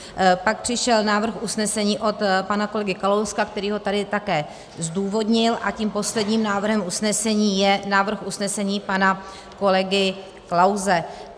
Pak přišel návrh usnesení od pana kolegy Kalouska, který ho tady také zdůvodnil, a tím posledním návrhem usnesení je návrh usnesení pana kolegy Klause.